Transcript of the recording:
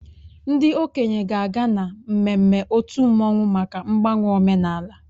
Ndị okenye ga-aga na mmemme otu mmanwụ maka mgbanwe omenala